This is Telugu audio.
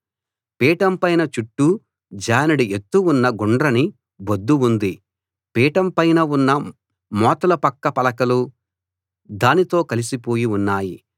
పీఠం పైన చుట్టూ జానెడు ఎత్తు ఉన్న గుండ్రని బొద్దు ఉంది పీఠం పైన ఉన్న మోతలూ పక్క పలకలూ దానితో కలిసిపోయి ఉన్నాయి